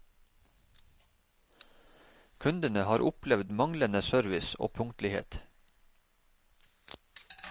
Kundene har opplevd manglende service og punktlighet.